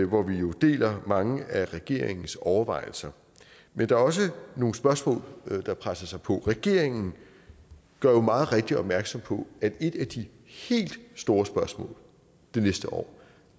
hvor vi jo deler mange af regeringens overvejelser men der er også nogle spørgsmål der presser sig på regeringen gør jo meget rigtigt opmærksom på at et af de helt store spørgsmål næste år